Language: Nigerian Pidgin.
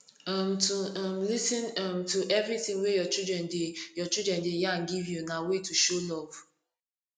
um to um lis ten um to everything way your children de your children de yarn give you na way to show love